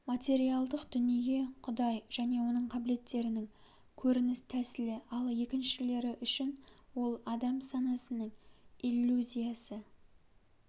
материалдық дүние құдай және оның кабілеттерінің көрініс тәсілі ал екіншілері үшін ол адам санасының иллюзиясы